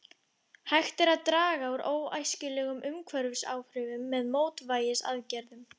Hægt er að draga úr óæskilegum umhverfisáhrifum með mótvægisaðgerðum.